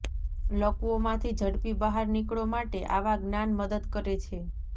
લકવો માંથી ઝડપી બહાર નીકળો માટે આવા જ્ઞાન મદદ કરે છે